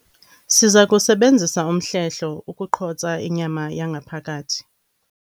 Siza kusebenzisa umhlehlo ukuqhotsa inyama yangaphakathi.